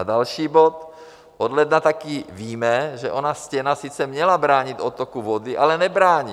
A další bod, od ledna taky víme, že ona stěna sice měla bránit odtoku vody, ale nebrání.